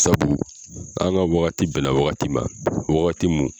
Sabu an ka wagati bɛna wagati ma wagati mun